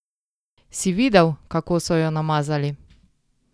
Si videl, kako so jo namazali?